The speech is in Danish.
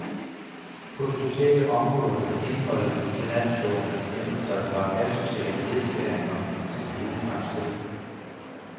På det sociale område har indholdet i finanslovene ændret sig fra asociale nedskæringer til pæne fremskridt.